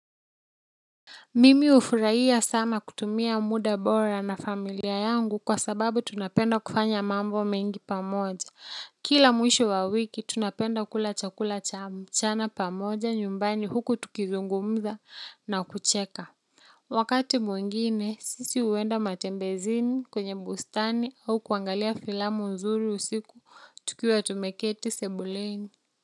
Mimi hufurahia sana kutumia muda bora na familia yangu kwa sababu tunapenda kufanya mambo mengi pamoja kila mwisho wa wiki tunapenda kula chakula cha mchana pamoja nyumbani huku tukizungumza na kucheka. Wakati mwingine sisi huenda matembezini kwenye bustani au kuangalia filamu nzuri usiku tukiwa tumeketi sebuleni.